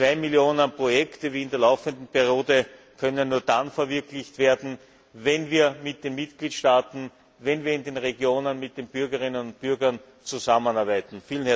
Zwei Millionen Projekte, wie in der laufenden Periode, können nur dann verwirklicht werden, wenn wir mit den Mitgliedstaaten, wenn wir in den Regionen mit den Bürgerinnen und Bürgern zusammenarbeiten.